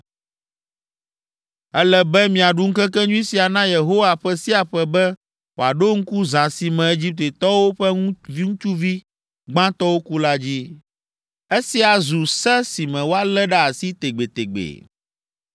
“Ele be miaɖu ŋkekenyui sia na Yehowa ƒe sia ƒe be wòaɖo ŋku zã si me Egiptetɔwo ƒe ŋutsuvi gbãtɔwo ku la dzi. Esia zu se si me woalé ɖe asi tegbetegbe.